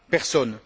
Personne.